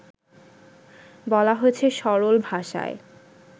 বলা হয়েছে সরল ভাষায়